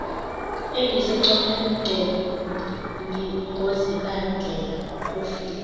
ebisecopenhagen ngozibandlela kofile